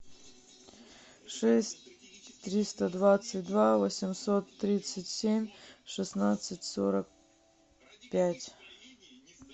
шесть триста двадцать два восемьсот тридцать семь шестнадцать сорок пять